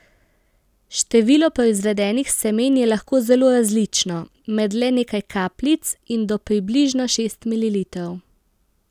Število proizvedenih semen je lahko zelo različno, med le nekaj kapljic in do približno šest mililitrov.